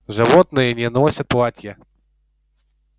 животные не носят платья